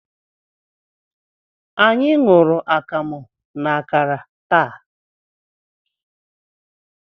Anyị ṅụrụ akamu na akara taa.